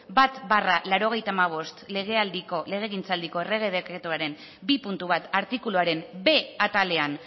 bat barra laurogeita hamabost legegintzaldiko errege dekretuaren bi puntu bat artikuluaren b atalean